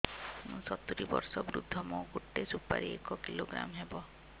ମୁଁ ସତୂରୀ ବର୍ଷ ବୃଦ୍ଧ ମୋ ଗୋଟେ ସୁପାରି ଏକ କିଲୋଗ୍ରାମ ହେବ